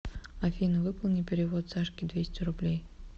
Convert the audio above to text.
афина выполни перевод сашке двести рублей